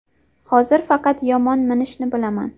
Hozir faqat yomon minishni bilaman.